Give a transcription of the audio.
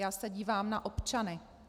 Já se dívám na občany.